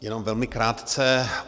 Jenom velmi krátce.